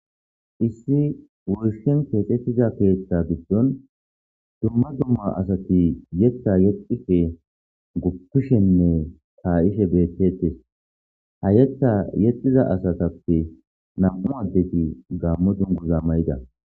Issi woyishshan kexetida keththa gidon issi issi asati yeththa yexishshenne ka"ishshe bettetes ha yeththa yexiza asatappe nam"u asati gammo dunguza mayida